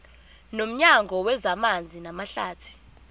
nomnyango wezamanzi namahlathi